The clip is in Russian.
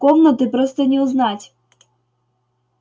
комнаты просто не узнать